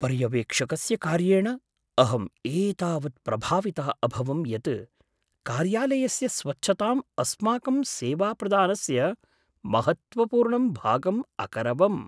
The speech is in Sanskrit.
पर्यवेक्षकस्य कार्येण अहम् एतावत् प्रभावितः अभवं यत् कार्यालयस्य स्वच्छताम् अस्माकं सेवाप्रदानस्य महत्त्वपूर्णं भागम् अकरवम्।